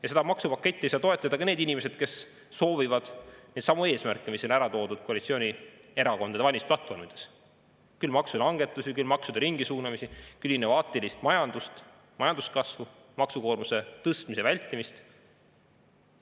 Ja seda maksupaketti ei saa toetada ka need inimesed, kes soovivad neidsamu eesmärke, mis oli ära toodud koalitsioonierakondade valimisplatvormides – küll maksulangetusi, küll maksude ringisuunamisi, küll innovaatilist majandust, majanduskasvu, maksukoormuse tõstmise vältimist.